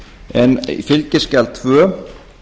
en fskj tvö